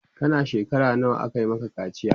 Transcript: kana shekara nawa aka Maka kaciya?